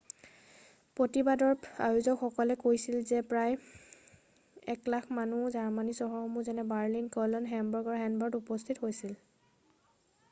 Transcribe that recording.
প্ৰতিবাদৰ আয়োজকসকলে কৈছিল যে প্ৰায় 100,000 মানুহ জাৰ্মানীৰ চহৰসমূহ যেনে বাৰ্লিন কলন হেমবাৰ্গ আৰু হেনভাৰত উপস্থিত হৈছিল